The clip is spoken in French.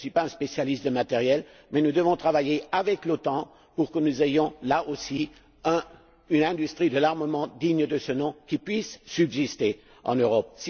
Je ne suis pas un spécialiste des matériels, mais nous devons travailler avec l'OTAN pour que nous ayons, là aussi, une industrie de l'armement digne de ce nom qui puisse subsister en Europe.